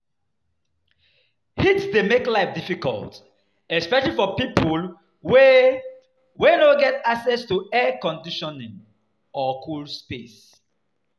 Heat dey make life difficult, especially for people wey wey no get access to air conditioning or cool space.